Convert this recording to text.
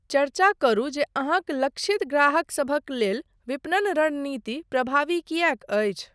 चर्चा करू जे अहाँक लक्षित ग्राहकसभक लेल विपणन रणनीति प्रभावी किएक अछि।